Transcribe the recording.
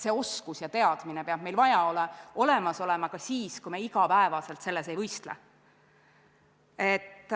Need oskused ja teadmised peavad meil olemas olema ka siis, kui me iga päev selles valdkonnas ei võistle.